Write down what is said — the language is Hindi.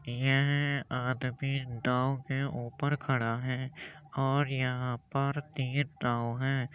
यह आदमी नाव के ऊपर खड़ा है और यहाँ पर तीन नाव हैं।